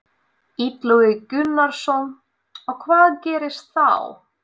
Illugi Gunnarsson: Og hvað gerist þá?